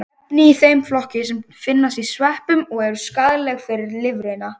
Efni í þeim flokki finnast í sveppum og eru skaðleg fyrir lifrina.